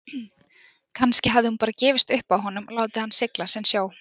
Kannski hafði hún bara gefist upp á honum og látið hann sigla sinn sjó.